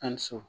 Ali so